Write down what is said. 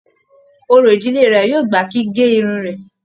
Òrò ìdílé rẹ yóò gbà kí gé Irun rẹ.